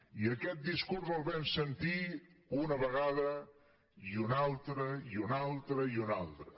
i aquest discurs el vam sentir una vegada i una altra i una altra i una altra